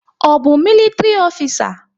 Ọ bụ militri ofisa?